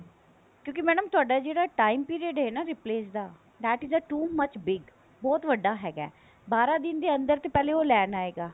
ਕਿਉਂਕਿ ਮੈਡਮ ਤੁਹਾਡਾ ਜਿਹੜਾ time period ਹੈ replace ਦਾ that is two much big ਬਹੁਤ ਵੱਡਾ ਹੈਗਾ ਬਾਰਾਂ ਦਿਨ ਦੇ ਅੰਦਰ ਤਾਂ ਪਹਿਲੇ ਉਹ ਲੈਣ ਆਏਗਾ